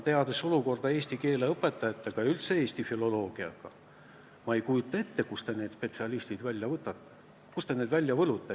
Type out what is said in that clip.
Teades, milline seis on eesti keele õpetajatega ja üldse eesti filoloogiaga, ma ei kujuta ette, kust need spetsialistid välja võetakse, kust need välja võlutakse.